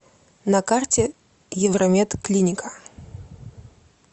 на карте евромед клиника